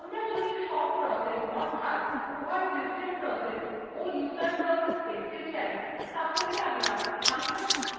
আমরা যদি সব processes অর্থাৎ উভয় system processes ও user processes দেখতে চাই